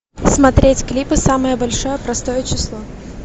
смотреть клипы самое большое простое число